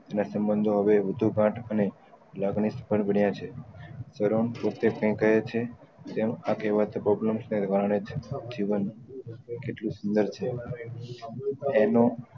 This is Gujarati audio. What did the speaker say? એના સમ્બન્ધો હવે વધુ ગાઠ અને લગને સફળ બન્યા છે પોતે ફેકાયા છે ત્યાં નું આ કેહવત છે જીવન કેટલું સુંદર છે એનો